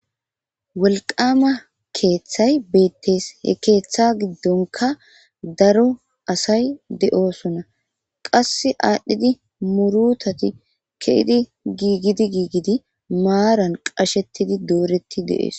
wolqama keeththay beettees he keeththa giddonka daro asay de7osona qasse aadhdhidi murutati ke'idi giigidi giigidi maaran qashettidi dooreti deees